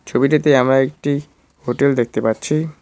ছবিটাতে আমরা একটি হোটেল দেখতে পাচ্ছি।